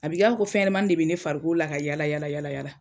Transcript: A bɛ k'a fɔ ko fɛnɲɛnamanin de bɛ ne farikolo la ka yaala yaala.